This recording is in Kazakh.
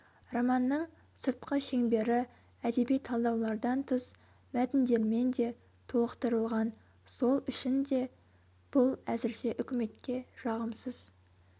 романның сыртқы шеңбері әдеби талдаулардан тыс мәтіндермен де толықтырылған сол үшін де бұл әзірше үкіметке жағымсыз